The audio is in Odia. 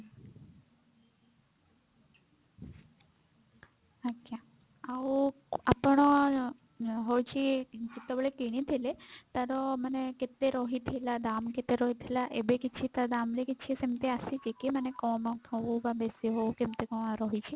ଆଜ୍ଞା ଆଉ ଆପଣ ହଉଛି ଯେତେବେଳେ କିଣିଥିଲେ ତାର ମାନେ କେତେ ରହିଥିଲା ଦାମ୍ କେତେ ରହିଥିଲା ଏବେ କିଛି ତା ଦାମ୍ ରେ କିଛି ସେମିତି ଆସିଛି କି ମାନେ କମ ହଉ କି ବେଶି ହଉ କେମତି କଣ ରହିଛି?